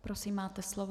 Prosím, máte slovo.